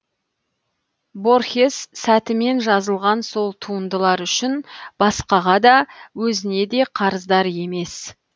борхес сәтімен жазылған сол туындылар үшін басқаға да өзіне де қарыздар емес